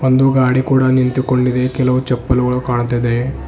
ಒಂದು ಗಾಡಿ ಕೂಡ ನಿಂತುಕೊಂಡಿದೆ ಕೆಲವು ಚಪ್ಪಲುಗಳು ಕಾಣ್ತಾ ಇದೆ.